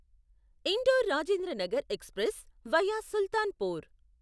indoor Rajendranagar express via Sultanpur